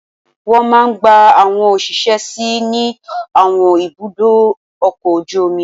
Wọ́n máa gba àwọn òṣìṣẹ́ sí ní àwọn ibùdó ọkọ̀ ojú omi